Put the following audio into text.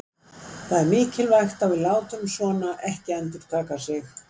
Það er mikilvægt að við látum svona ekki endurtaka sig.